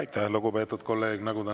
Aitäh, lugupeetud kolleeg!